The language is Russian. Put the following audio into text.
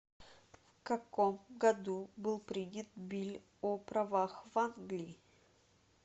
в каком году был принят билль о правах в англии